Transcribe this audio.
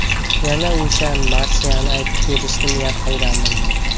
Yana o‘sha marsiyani aytib berishni niyat qilgandim.